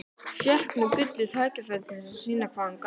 Fékk nú gullið tækifæri til að sýna hvað hann gat.